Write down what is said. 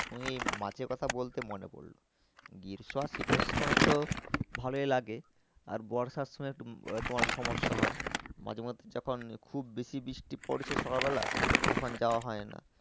ওই মাছের কথা বলতে মনে পড়লো। গ্রীষ্ম আর শীতের সময় তো ভালোই লাগে আর বর্ষার সময় তোমার সমস্যা হয় মাঝে মধ্যে যখন খুব বেশি বৃষ্টি পড়ছে সকাল বেলা তখন যাওয়া হয় না